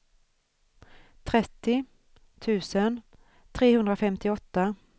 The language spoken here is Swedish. trettio tusen trehundrafemtioåtta